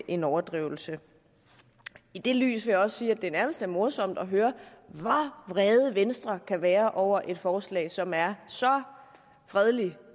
en overdrivelse i det lys vil jeg også sige at det nærmest er morsomt at høre hvor vrede venstre kan være over et forslag som er så fredeligt